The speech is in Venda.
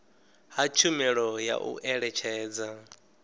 ha tshumelo ya u eletshedza